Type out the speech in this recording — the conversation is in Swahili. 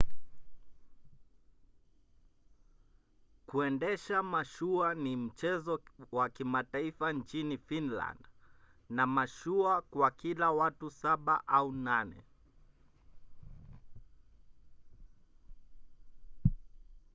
kuendesha mashua ni mchezo wa kimataifa nchini finland na mashua kwa kila watu saba au nane